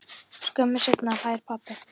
Skömmu seinna hlær pabbi.